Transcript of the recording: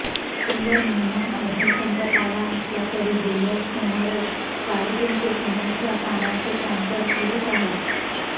September महिना अर्धा संपत आला असला तरी जिल्ह्यात सुमारे साडेतीनशे पिण्याच्या पाण्याचे टॅंकर सुरुच आहेत